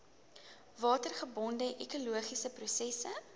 watergebonde ekologiese prosesse